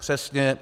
Přesně.